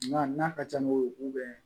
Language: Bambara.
Nka n'a ka ca ni wo bɛn